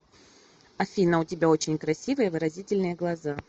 афина у тебя очень красивые и выразительные глаза